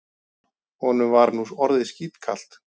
Honum var nú orðið skítkalt.